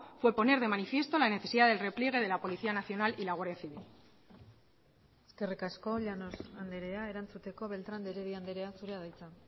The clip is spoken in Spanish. fue poner de manifiesto la necesidad del repliegue de la policía nacional y la guardia civil eskerrik asko llanos andrea erantzuteko beltrán de heredia andrea zurea da hitza